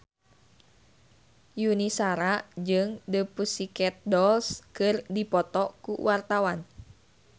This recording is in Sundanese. Yuni Shara jeung The Pussycat Dolls keur dipoto ku wartawan